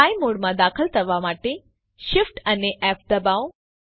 fly મોડમાં દાખલ થવા માટે Shift અને ફ દબાવો